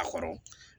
A kɔrɔ